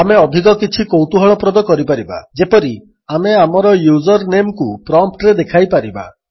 ଆମେ ଅଧିକ କିଛି କୌତୁହଳପ୍ରଦ କରିପାରିବା ଯେପରି ଆମେ ଆମର ୟୁଜର୍ନେମ୍କୁ ପ୍ରମ୍ପ୍ଟରେ ଦେଖାଇପାରିବା